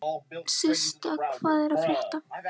Systa, hvað er að frétta?